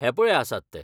हे पळय आसात ते.